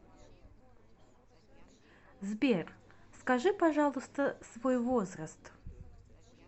сбер скажи пожалуйста свой возраст